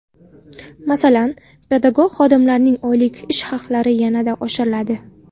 Masalan, pedagog xodimlarning oylik ish haqlari yanada oshiriladi.